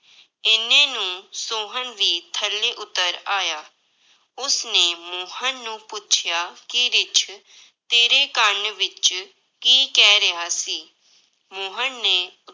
ਇੰਨੇ ਨੂੰ ਸੋਹਨ ਵੀ ਥੱਲੇ ਉੱਤਰ ਆਇਆ, ਉਸਨੇ ਮੋਹਨ ਨੂੰ ਪੁੱਛਿਆ ਕਿ ਰਿੱਛ ਤੇਰੇ ਕੰਨ ਵਿੱਚ ਕੀ ਕਹਿ ਰਿਹਾ ਸੀ, ਮੋਹਨ ਨੇ